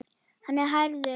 Hann er hærður.